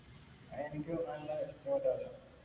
എനിക്കും നല്ല ഇഷ്ടപ്പെട്ടായിരുന്നു.